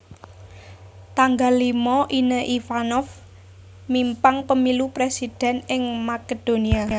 tanggal limo Ine Ivanov mimpang pemilu presiden ing Makedonia